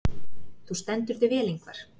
Þú stendur þig vel, Yngvar!